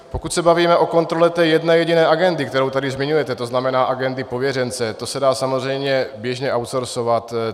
Pokud se bavíme o kontrole té jedné jediné agendy, kterou tady zmiňujete, to znamená agendy pověřence, to se dá samozřejmě běžně outsourcovat.